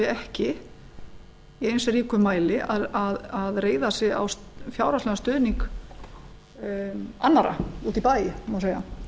ekki í eins ríkum mæli að reiða sig á fjárhagslegan stuðning annarra úti í bæ má segja